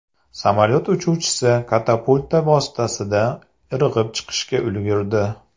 Samolyot uchuvchisi katapulta vositasida irg‘ib chiqishga ulgurdi.